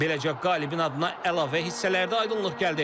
Beləcə qalibin adına əlavə hissələrdə aydınlıq gəldi.